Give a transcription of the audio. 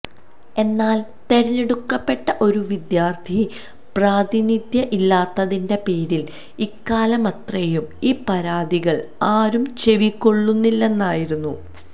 എന്നാല് തെരഞ്ഞെടുക്കപ്പെട്ട ഒരു വിദ്യാര്ത്ഥി പ്രാതിനിധ്യം ഇല്ലാത്തതിന്റെ പേരില് ഇക്കാലമത്രയും ഈ പരാതികള് ആരും ചെവികൊള്ളുന്നില്ലായിരുന്നു